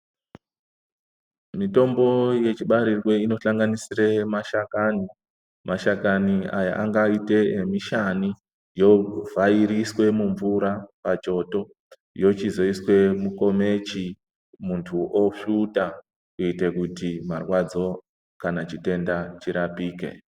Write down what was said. Mitombo yechibarirwe inosanganisire mashakani, mashakani aya angaite emishani, ovhairiswe mumvura pachoto yochizoiswe mukomichi muntu osvuta kuite kuti marwadzo kanachitenda chirapike.